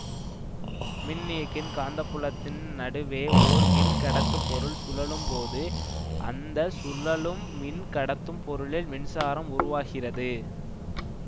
மின்னியக்கியின் காந்தப்புலத்தின் நடுவே ஓர் மின்கடத்து பொருள் சுழலும் போது அந்த சுழலும் மின் கடத்தும் பொருளில் மின்சாரம் உருவாகிறது